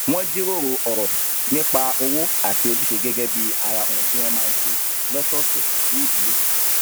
wón jíròrò òrò nípa òwò àti ojúṣe gégé bí ara ohun tí wón máa ń ṣe lósòòsè bí ìdílé